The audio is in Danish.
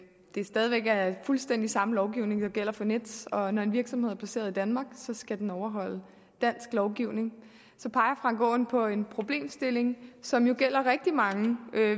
det stadig væk er fuldstændig samme lovgivning der gælder for nets og når en virksomhed er placeret i danmark skal den overholde dansk lovgivning så peger frank aaen på en problemstilling som jo gælder rigtig mange